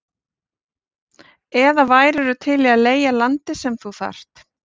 eða værirðu til í að leigja landið sem þú þarft?